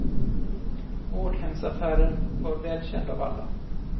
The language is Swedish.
Vårdhemsaffären var väl känd av alla.